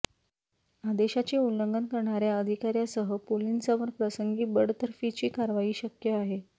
आदेशाचे उल्लंघन करणार्या अधिकार्यासह पोलिसांवर प्रसंगी बडतर्फीची कारवाई शक्य आहे